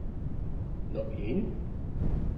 No in?